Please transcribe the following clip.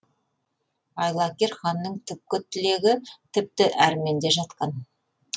айлакер ханның түпкі тілегі тіпті әрменде жатқан